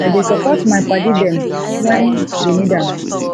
i dey support my paddy dem wen dey need am